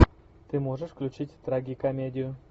ты можешь включить трагикомедию